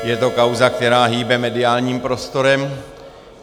Je to kauza, která hýbe mediálním prostorem.